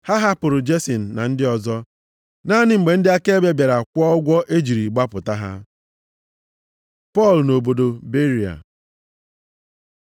Ha hapụrụ Jesin na ndị ọzọ, naanị mgbe ndị akaebe bịara kwụọ ụgwọ e jiri gbapụta ha. Pọl nʼobodo Beria